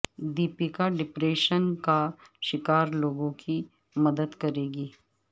Deepika depression کا شکار لوگوں کی مدد کریں گی